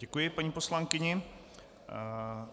Děkuji paní poslankyni.